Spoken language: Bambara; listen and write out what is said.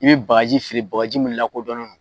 I bi bagaji feere, bagaji mun lakodɔnnen don.